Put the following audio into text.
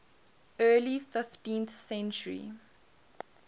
early fifteenth century